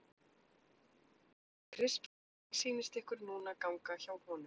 Kristján Már Unnarsson: Hvernig sýnist ykkur núna ganga hjá honum?